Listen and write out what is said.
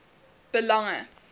belange